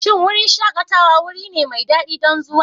Shin wurin shakatawa wuri ne mai daɗi don zuwa?